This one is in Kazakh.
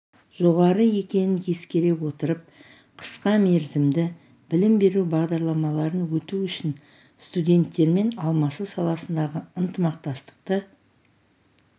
жоғары екенін ескере отырып қысқа мерзімді білім беру бағдарламаларын өту үшін студенттермен алмасу саласындағы ынтымақтастықты